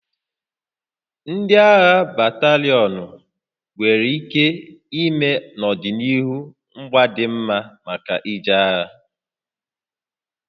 Ndị agha batalịọnụ nwere ike ime n'ọdịnihu ngwa dị mma maka ije agha